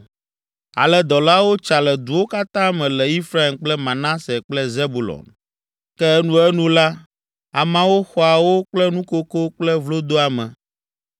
Ale dɔlawo tsa le duwo katã me le Efraim kple Manase kple Zebulon. Ke enuenu la, ameawo xɔa wo kple nukoko kple vlodoame!